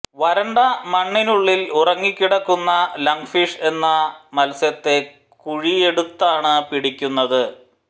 വരണ്ട മണ്ണിനുള്ളിൽ ഉറങ്ങിക്കിടക്കുന്ന ലങ് ഫിഷ് എന്ന മത്സ്യത്തെ കുഴിയെടുത്താണ് പിടിക്കുന്നത്